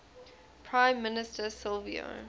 prime minister silvio